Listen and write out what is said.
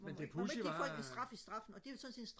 men det pudsige var at